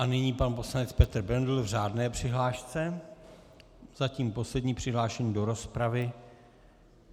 A nyní pan poslanec Petr Bendl v řádné přihlášce, zatím poslední přihlášený do rozpravy.